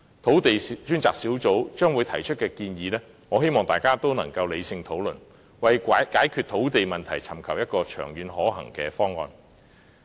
土地供應專責小組將會提出的建議，我希望大家能理性討論，為解決土地問題尋求一個長遠可行的方案。